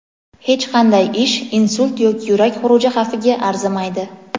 Hech qanday ish insult yoki yurak xuruji xavfiga arzimaydi.